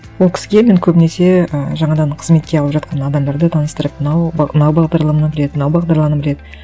ол кісіге мен көбінесе ы жаңадан қызметке алып жатқан адамдарды таныстырып мынау мынау бағдарланы біледі